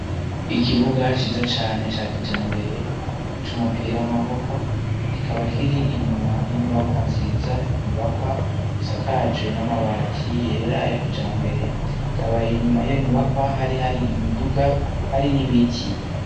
Ikibuga ciza cane ca kijambere c'umupira w'amaboko kikaba kiri inyuma y'inyubakwa nziza inyubakwa isakaje n'amabati yera ya kijambere, hakaba inyuma yiyo nyubakwa hari imiduga hari n'ibiti.